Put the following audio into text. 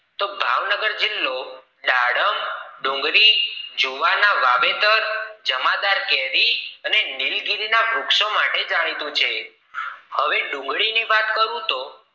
તો ભાવનગર જિલ્લો દાડમ ડુંગળી જુવાર ના વાવેતર ક જમાદાર કેરી અને નીલગીરી ના વૃક્ષો માટે જાણીતું છે હવે ડુંગળી ની વાત કરું તો